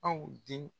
Aw den